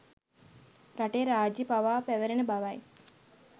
රටේ රාජ්‍ය පවා පැවැරෙන බවයි.